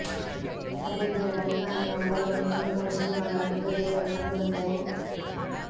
ಅದೇ ದೀನ ಡಲ್ಕಾನಿಯಾ ವಲಯದಲ್ಲಿ ಇನ್ನೂ ಮೂರು ಸಿಂಹಗಳ ಮೃತದೇಹಗಳು ಕಂಡುಬಂದವು